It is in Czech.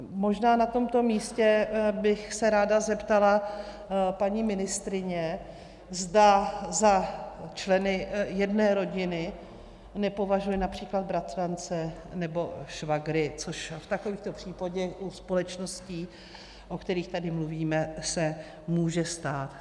Možná na tomto místě bych se ráda zeptala paní ministryně, zda za členy jedné rodiny nepovažuje například bratrance nebo švagry, což v takovýchto případech u společností, o kterých tady mluvíme, se může stát.